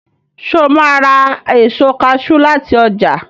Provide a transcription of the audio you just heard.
Sọ ma ra èso kaṣú láti ọjà?